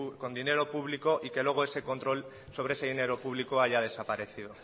con dinero público y que luego ese control sobre ese dinero público haya desaparecido